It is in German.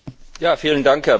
Herr Präsident!